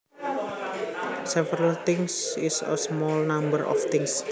Several things is a small number of things